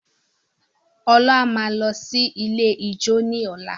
Ola máa lọ sí ilé ijó ní ọ̀la.